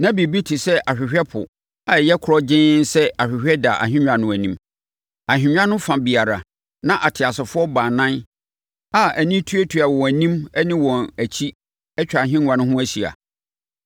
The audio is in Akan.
Na biribi te sɛ ahwehwɛ ɛpo a ɛyɛ korɔgyenn sɛ ahwehwɛ da ahennwa no anim. Ahennwa no fa biara, na ateasefoɔ baanan a ani tuatua wɔn anim ne wɔn akyi atwa ahennwa no ho ahyia.